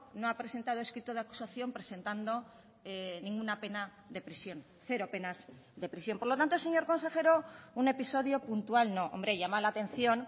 no ha presentado escrito de acusación presentando ninguna pena de prisión cero penas de prisión por lo tanto señor consejero un episodio puntual no hombre llama la atención